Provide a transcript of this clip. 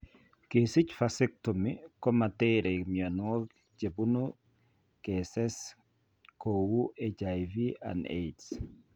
Kesich vascetomy komateree mionwogik chebune keses kouu HIV/AIDS